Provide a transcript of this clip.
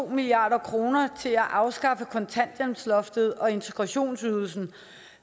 milliard kroner til at afskaffe kontanthjælpsloftet og integrationsydelsen